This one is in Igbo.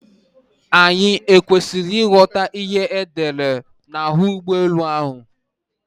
Anyị ọ kwesịrị ịghọta ihe edere n'ahụ ụgbọ elu ahụ?